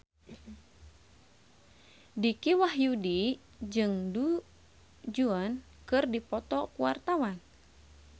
Dicky Wahyudi jeung Du Juan keur dipoto ku wartawan